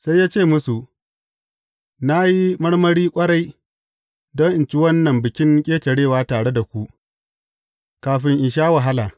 Sai ya ce musu, Na yi marmari ƙwarai don in ci wannan Bikin Ƙetarewa tare da ku, kafin in sha wahala.